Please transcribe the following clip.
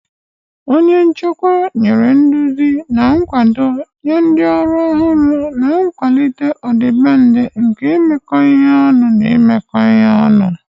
Onye nchịkwa nyere nduzi na nkwado nye ndị ọrụ ọhụrụ, na-akwalite ọdịbendị nke imekọ ihe ọnụ na imekọ ihe ọnụ.